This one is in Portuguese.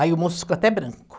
Aí o moço ficou até branco.